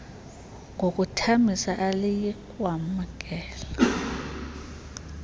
ngokuthambisa aliyi kwamkela